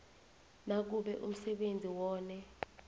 nakube umsebenzi wone